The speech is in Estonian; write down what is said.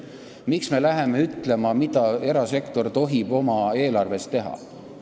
Miks me läheme ütlema, mida erasektor tohib oma eelarvega teha?